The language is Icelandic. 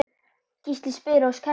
Gísli spyr og Kjartan svarar